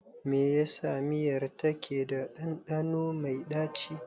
Me yasa miyar take da ɗanɗano mai ɗaci.